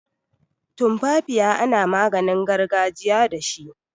Tumfafiya ana maginin gargajiya dashi.